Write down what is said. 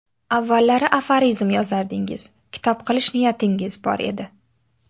Avvallari aforizm yozardingiz, kitob qilish niyatingiz bor edi?